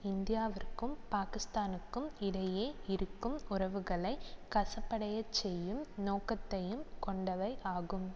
இந்தியாவிற்கும் பாக்கிஸ்தானுக்கும் இடையே இருக்கும் உறவுகளை கசப்படையச் செய்யும் நோக்கத்தையும் கொண்டவை ஆகும்